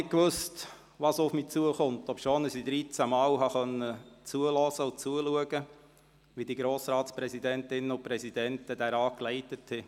Ich wusste nicht, was auf mich zukommt, obwohl ich dreizehn Male zuhören und zuschauen konnte, wie die Grossratspräsidentinnen und -präsidenten den Rat leiteten.